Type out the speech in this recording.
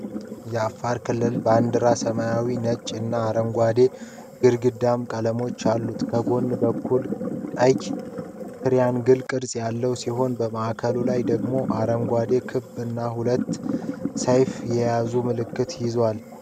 የአፋር ክልል ባንዲራ ሰማያዊ፣ ነጭ እና አረንጓዴ አግድም ቀለሞች አሉት። ከጎን በኩል ቀይ ትሪያንግል ቅርጽ ያለው ሲሆን፣ በማዕከሉ ላይ ደግሞ አረንጓዴ ኮከብ እና ሁለት ሰይፎች የያዘ ምልክት ይዟል።